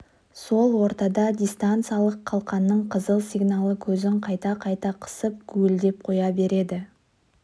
сол ортада дистанциялық қалқанның қызыл сигналы көзін қайта-қайта қысып гуілдеп қоя берді